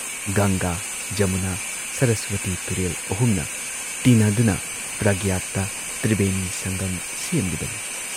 ꯒꯪꯒꯥꯥ, ꯖꯃꯨꯅꯥ, ꯁꯔꯁ꯭ꯋꯇꯤ ꯇꯨꯔꯦꯜ ꯑꯍꯨꯝꯅ ꯇꯤꯟꯅꯗꯨꯅ ꯄ꯭ꯔꯒꯇ ꯇ꯭ꯔꯤꯕꯦꯅꯤ ꯁꯪꯒꯝ ꯁꯦꯝꯂꯤꯕꯅꯤ ꯫